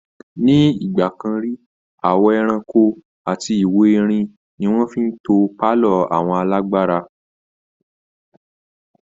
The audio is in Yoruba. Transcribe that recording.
Ní ìgbà kan rí, àwọ ẹrankó, ìwo erin abbl ni wọ́n fi ń to pálọ̀ àwọn alágbára